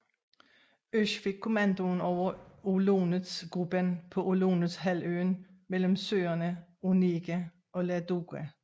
Oesch fik kommandoen over Olonets Gruppen på Olonets halvøen mellem søerne Onega og Ladoga